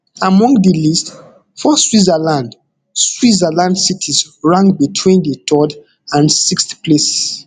among di list four switzerland switzerland cities rank between di third and sixth place